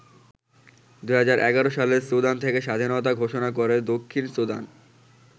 ২০১১ সালে সুদান থেকে স্বাধীনতা ঘোষণা করে দক্ষিণ সুদান।